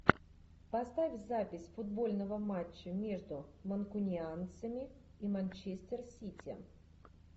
поставь запись футбольного матча между манкунианцами и манчестер сити